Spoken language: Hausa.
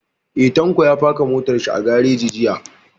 Eh, Tanko ya faka motar shi a gareji jiya